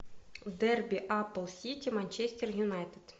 дерби апл сити манчестер юнайтед